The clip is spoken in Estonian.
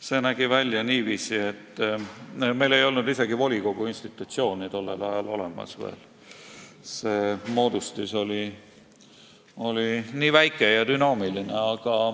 See nägi välja niiviisi, et meil ei olnud tol ajal olemas isegi veel volikogu institutsiooni, see moodustis oli nii väike ja dünaamiline.